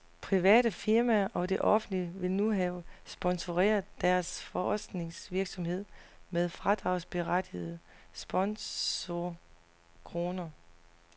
Private firmaer og det offentlige vil nu have sponsoreret deres forskningsvirksomhed med fradragsberettigede sponsorkroner.